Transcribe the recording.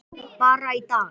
Bara í dag.